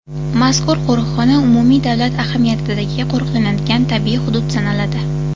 Mazkur qo‘riqxona umumiy davlat ahamiyatidagi qo‘riqlanadigan tabiiy hudud sanaladi.